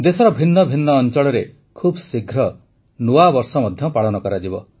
ଦେଶର ଭିନ୍ନ ଭିନ୍ନ ଅଞ୍ଚଳରେ ଖୁବ୍ଶୀଘ୍ର ନୂଆବର୍ଷ ମଧ୍ୟ ପାଳନ କରାଯିବ